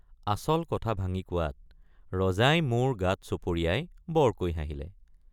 আচল কথা ভাঙি কোৱাত ৰজাই মোৰ গাত চপৰিয়াই বৰকৈ হাঁহিলে।